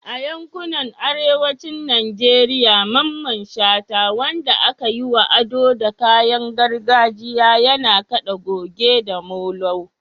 A yankunan arewacin Najeriya, Mamman Shata, wanda aka yi wa ado da kayan gargajiya, yana kada goge da molo.